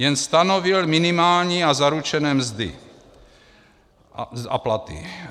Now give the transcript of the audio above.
Jen stanovil minimální a zaručené mzdy a platy.